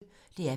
DR P1